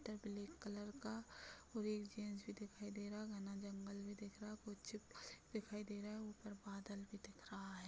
उधर black colour का भी दिखाई दे रहा है घना जंगल भी दिख रहा है कुछ भी दिखाई दे रहे हैं ऊपर बादल भी दिख रहा है।